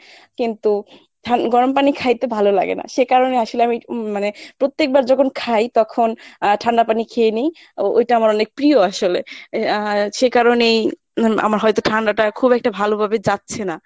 কিন্তু গরম পানি খাইতে ভালো লাগে না সে কারণে আসলে আমি উম মানে প্রত্যেকবার যখন খাই তখন আহ ঠান্ডা পানি খেয়ে নেই ওইটা আমার অনেক প্রিয় আসলে এর আহ সে কারণেই আমার হয়ত ঠান্ডাটা খুব একটা ভালো ভাবে যাচ্ছে না।